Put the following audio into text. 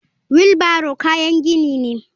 Wheeo barrow kayan gini ne.